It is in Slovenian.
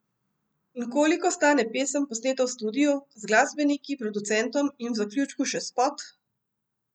In koliko stane pesem, posneta v studiu, z glasbeniki, producentom in v zaključku še spot?